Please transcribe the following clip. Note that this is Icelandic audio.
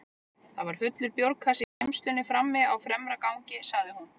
Það var fullur bjórkassi í geymslunni frammi á fremra gangi, sagði hún.